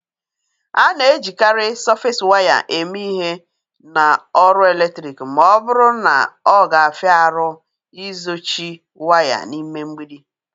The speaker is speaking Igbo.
A na-ejikarị Sọfes waya eme ihe na ọrụ eletrik ma ọ bụrụ na ọ ga-afia arụ ịzochi waya n'ime mgbidi.